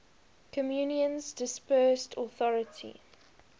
communion's dispersed authority